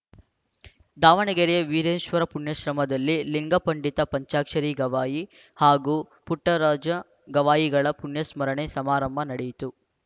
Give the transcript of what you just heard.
ದಾವಣಗೆರೆಯ ವೀರೇಶ್ವರ ಪುಣ್ಯಾಶ್ರಮದಲ್ಲಿ ಲಿಂಗ ಪಂಡಿತ ಪಂಚಾಕ್ಷರಿ ಗವಾಯಿ ಹಾಗೂ ಪುಟ್ಟರಾಜ ಗವಾಯಿಗಳ ಪುಣ್ಯಸ್ಮರಣೆ ಸಮಾರಂಭ ನಡೆಯಿತು